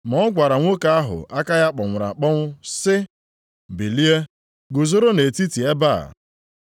Ma ọ gwara nwoke ahụ aka ya kpọnwụrụ akpọnwụ sị, “Bilie guzoro nʼetiti ebe a.”